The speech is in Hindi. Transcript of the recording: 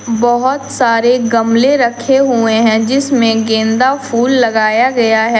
बहोत सारे गमले रखे हुए हैं जिसमें गेंदा फूल लगाया गया है।